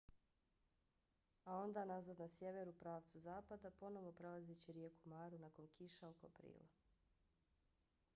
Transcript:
a onda nazad na sjever u pravcu zapada ponovo prelazeći rijeku maru nakon kiša oko aprila